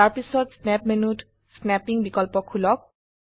তাৰপিছত স্ন্যাপ মেনুত স্নাপ্পিং বিকল্প খুলক